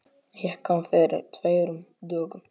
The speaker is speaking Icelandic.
Ég kom fyrir tveimur dögum.